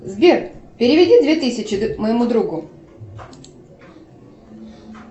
сбер переведи две тысячи моему другу